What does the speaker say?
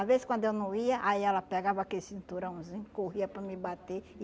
Às vezes, quando eu não ia, aí ela pegava aquele cinturãozinho, corria para me bater.